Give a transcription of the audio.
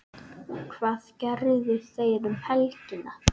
Hvað gerðu þeir um helgina?